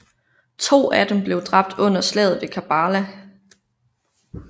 To af dem blev dræbt under Slaget ved Karbala